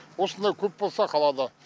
осындай көп болса қалада